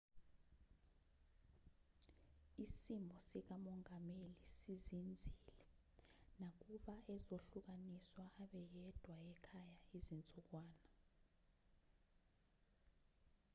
isimo sikamongameli sizinzile nakuba ezohlukaniswa abe yedwa ekhaya izinsukwana